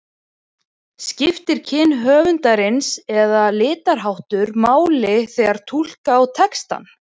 Skiptir kyn höfundarins eða litarháttur máli þegar túlka á textann?